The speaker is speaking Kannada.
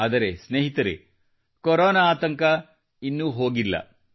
ಆದರೆ ಸ್ನೇಹಿತರೆ ಕೊರೊನಾ ಆತಂಕ ಇನ್ನೂ ಹೋಗಿಲ್ಲ